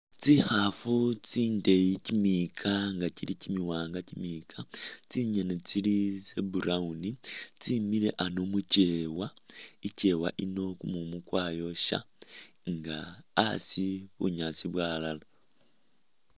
Tsikhaafu tsindeeyi kimiyika nga kili kimiwanga kimiyika, tsingene tsili tse brown, tsemile ano mukyewa, ikewa iyino kumumu kwayosha nga asi bunyaasi bwawalala